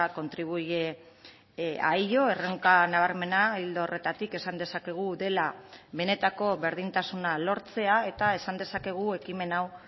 contribuye a ello erronka nabarmena ildo horretatik esan dezakegu dela benetako berdintasuna lortzea eta esan dezakegu ekimen hau